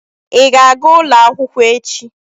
Ị ga-aga ulo akwụkwọ echi?